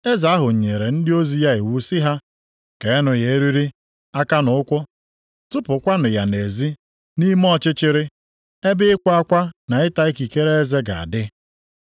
“Eze ahụ nyere ndị ozi ya iwu sị ha, ‘Keenụ ya eriri, aka na ụkwụ, tụpụkwanụ ya nʼezi, nʼime ọchịchịrị, ebe ịkwa akwa na ịta ikikere eze ga-adị.’